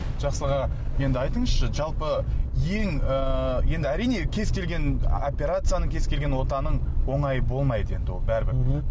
жақсы аға енді айтыңызшы жалпы ең ыыы енді әрине кез келген операцияның кез келген отаның оңайы болмайды енді ол бәрібір мхм